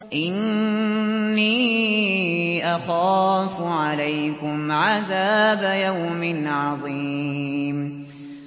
إِنِّي أَخَافُ عَلَيْكُمْ عَذَابَ يَوْمٍ عَظِيمٍ